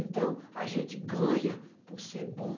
Então, a gente ganha por ser bom.